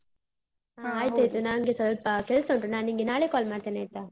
ನಂಗೆ ಸ್ವಲ್ಪ ಕೆಲ್ಸ ಉಂಟು, ನಾ ನಿಂಗೆ ನಾಳೆ call ಮಾಡ್ತೇನ್ ಆಯ್ತಾ?